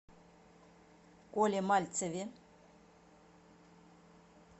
коле мальцеве